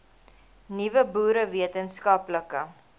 nuwe boere wetenskaplike